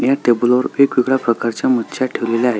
या टेबल वर वेगवेगळ्या प्रकारच्या मच्छ्या ठेवलेल्या आहे.